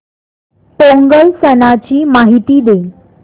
पोंगल सणाची माहिती दे